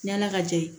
Ɲana ka jee